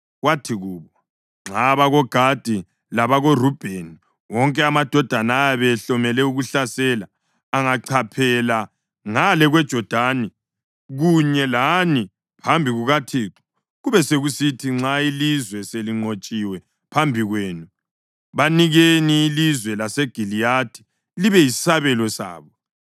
Wathi kubo, “Nxa abakoGadi labakoRubheni, wonke amadoda ayabe ehlomele ukuhlasela, angachaphela ngale kweJodani kunye lani phambi kukaThixo, kube sekusithi nxa ilizwe selinqotshiwe phambi kwenu banikeni ilizwe laseGiliyadi libe yisabelo sabo.